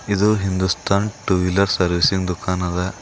ಇದು Hindustan two wheeler service ಇನ್ ದುಕಾನ ದ.